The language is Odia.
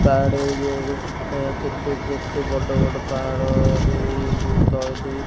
ପାହାଡ଼ ଏରିଆ ରେ କେତେ କେତେ ବଡ଼ ବଡ଼ ପାହାଡ଼ ଦେଇ କି ତଳେ ଦି --